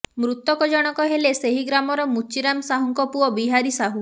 ମୃତକ ଜଣକ ହେଲେ ସେହି ଗ୍ରାମର ମୁଚୀରାମ ସାହୁଙ୍କ ପୁଅ ବିହାରୀ ସାହୁ